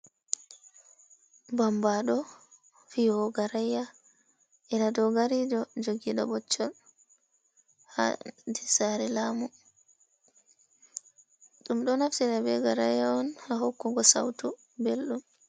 Bambaaɗo, fiyowo garaaya, enaa doogari ɗo jogiiɗo ɓoccol ha nder saare laamu. Ɗum ɗo naftira be garaaya on ha hokkugo sautu belɗum.